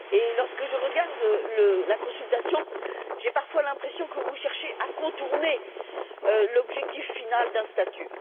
Lorsque je regarde la consultation, j'ai parfois l'impression que vous cherchez à contourner l'objectif final d'un statut.